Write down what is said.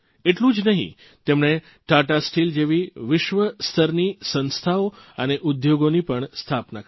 એટલું જ નહીં તેમણે તાતા સ્ટીલ જેવી વિશ્વસ્તરની સંસ્થાઓ અને ઉદ્યોગોની પણ સ્થાપના કરી